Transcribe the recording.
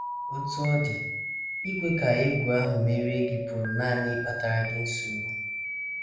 Otú ọ dị, ikwe ka egwu ahụ merie gị pụrụ nanị ịkpatara gị nsogbu.